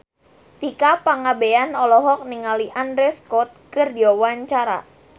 Tika Pangabean olohok ningali Andrew Scott keur diwawancara